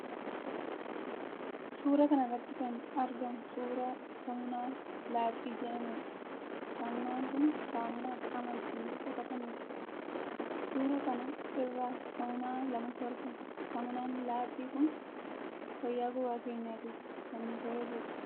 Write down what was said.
Suura kana irratti kan argamu suura saamunaa laaxii jedhamudha. saamunaan kun saamunaa qaama ittiin dhiqatanidha. Suura kan irra saamunaa lamatu argama. Saamunaan laaxii kun fayyaa gogaa keenyaatiif kan nu fayyadudha.